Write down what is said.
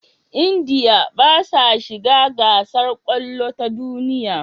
India basa shiga gasar kwallo ta duniya